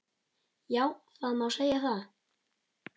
Já, það má segja.